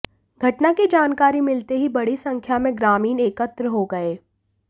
घटना की जानकारी मिलते ही बड़ी संख्या में ग्रामीण एकत्र हो गए